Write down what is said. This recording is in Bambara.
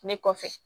Ne kɔfɛ